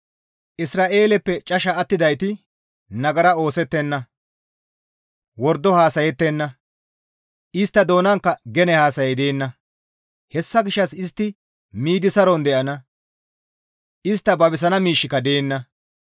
Isra7eeleppe casha attidayti nagara oosettenna. Wordo haasayettenna; Istta doonankka gene haasayay deenna. Hessa gishshas istti miidi saron de7ana; istta babisana miishshika deenna.